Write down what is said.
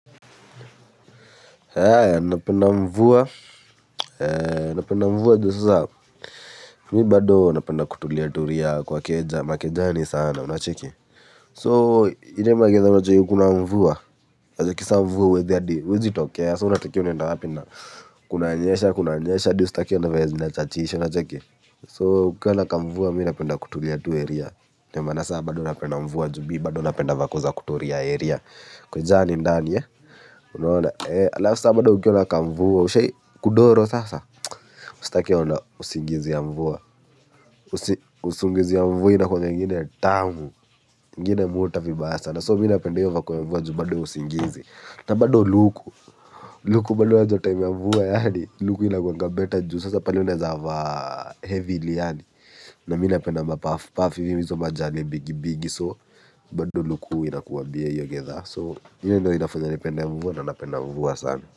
Haya, napenda mvua, napenda mvua jusasa, mi bado napenda kutulia turia kwa keja, makejani sana, unacheki. So, ilee magidhaa kuna mvua, wajakisa mvua, huwezi hadi, huwezi tokea, so, unatokea so unatokea uenda wapi na, kunanyesha, kunanyesha, di ustaki na vile zinachachisha unacheki. So, ukiwa na kamvua, mi napenda kutulia tu area, ndio manaa sa, bado napenda mvua, jubi, bado napenda vakoza kutulia area, kejani ndani, ya. Unaona ee alafusa bado kukiwa na kamvua ushai kudoro sasa ustakie ona usingizi ya mvua usingizi ya mvua ina kuanga ingine tamu ngine muta vibaya sana soo minapende hio vako ya mvua juu bado usingizi na bado luku luku bado unajua time mvua yaani luku ina guanga beta juu sasa pale unazava heavily yaani na minapenda mapafu pauff hizo majale bigi bigi soo bado luku inakuwa bie hio gidhaa soo minapende mvua na napenda mvua sana.